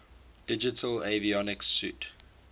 digital avionics suite